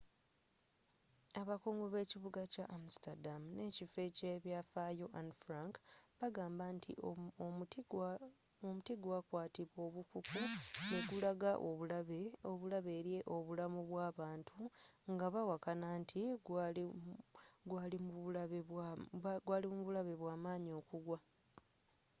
abakungu b'ekibuga kya amsterdam ne ekifo eky'ebyafaayo anne frank bagamba nti omuti gwa kwatibwa obukuku ne gulaga obulabe eri obulamu bw'abantu nga bawakana nti gwaali mubulabe bwaamanyi okugwa